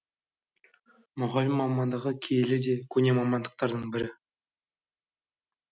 мұғалім мамандығы киелі де көне мамандықтардың бірі